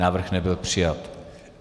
Návrh nebyl přijat.